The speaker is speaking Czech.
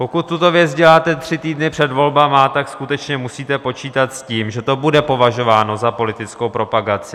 Pokud tuto věc děláte tři týdny před volbami, tak skutečně musíte počítat s tím, že to bude považováno za politickou propagaci.